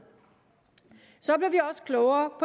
så blev vi også klogere